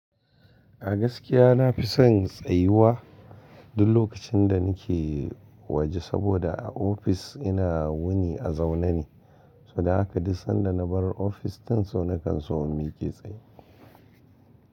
A gaskiya na fi son tsayuwa duk lokacin da nake waje saboda a ofis ina wuni a zaune ne, so dan haka duk sanda na bar ofis, so na kan so in miƙe tsaye.